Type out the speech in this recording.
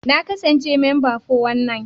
Na kasance memba 419.